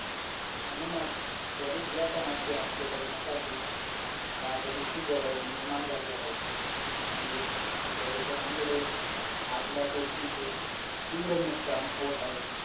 तर माझ भूगोल बऱ्यापैकीना school मधे complete झाल होत history तर काय all most done होता आपला